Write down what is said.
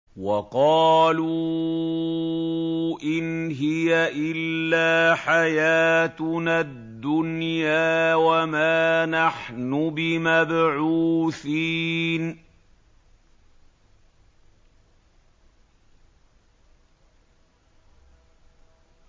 وَقَالُوا إِنْ هِيَ إِلَّا حَيَاتُنَا الدُّنْيَا وَمَا نَحْنُ بِمَبْعُوثِينَ